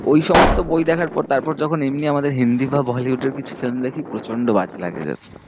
ওই সমস্ত বই দেখার পর তারপর যখন এমনি আমাদের হিন্দি বা bollywood এর কিছু film দেখি, প্রচন্ড বাজে লাগে just